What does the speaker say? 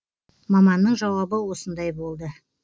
маманның жауабы осындай болды